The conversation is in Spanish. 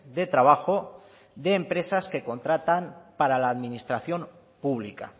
de trabajo de empresa que contratan para la administración pública